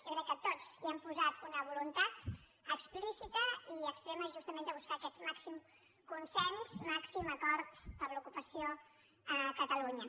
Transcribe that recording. jo crec que tots hi hem posat una voluntat explícita i extrema justament de buscar aquest màxim consens màxim acord per l’ocupació a catalunya